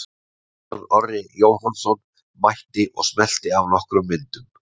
Kristján Orri Jóhannsson mætti og smellti af nokkrum myndum.